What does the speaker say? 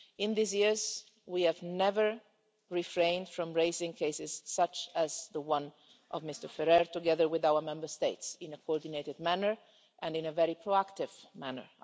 In these years, we have never refrained from raising cases such as the one of Mr Ferrer, together with our Member States, in a coordinated manner and in a very proactive manner.